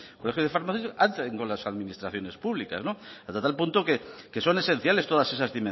colegios de farmacias hacen con las administraciones públicas hasta tal punto que son esenciales todas esas